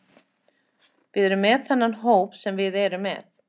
Við erum með þennan hóp sem við erum með.